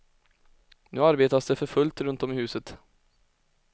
Nu arbetas det för fullt runt om i huset.